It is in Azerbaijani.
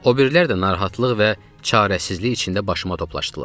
O birilər də narahatlıq və çarəsizlik içində başıma toplaşdılar.